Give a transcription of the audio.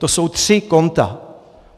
To jsou tři konta.